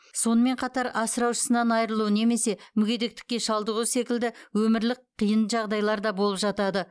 сонымен қатар асыраушысынан айырылу немесе мүгедектікке шалдығу секілді өмірлік қиын жағдайлар да болып жатады